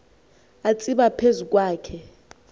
atsiba phezu kwakhe